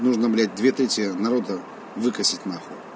нужно блять две третьей народа выкосить на хуй